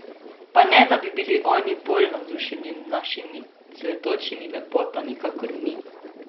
Pa ne, da bi bili oni bolj navdušeni nad našimi cvetočimi lepotami kakor mi?